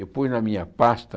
Eu pus na minha pasta...